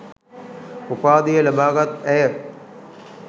උපාධිය ලබාගත් ඇය